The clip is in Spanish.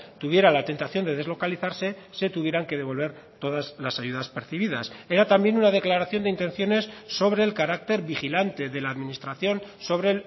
tuviera la tentación de deslocalizarse se tuvieran que devolver todas las ayudas percibidas era también una declaración de intenciones sobre el carácter vigilante de la administración sobre